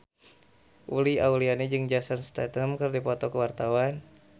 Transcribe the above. Uli Auliani jeung Jason Statham keur dipoto ku wartawan